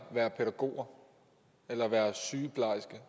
være pædagog eller være sygeplejerske